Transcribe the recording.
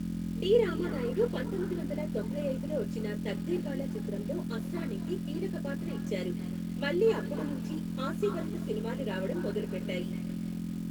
D Ramanaidu పంతొమ్మిది వందల తొంభై ఐదులో వచ్చిన తక్దీర్వాలా చిత్రంలో అస్రానీకి కీలక పాత్ర ఇచ్చారు, మళ్ళి అప్పుడు నుంచి హాస్య భరిత సినిమాలు రావడం మొదలుపెట్టాయి.